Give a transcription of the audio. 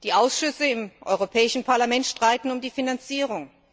Die Ausschüsse im Europäischen Parlament streiten um die Finanzierung.